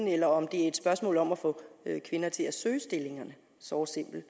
eller om det er et spørgsmål om at få kvinder til at søge stillingerne såre simpelt